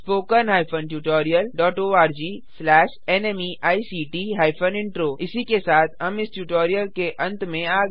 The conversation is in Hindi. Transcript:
httpspoken tutorialorgNMEICT Intro इसी के साथ हम इस ट्यूटोरियल के अंत में आ गये हैं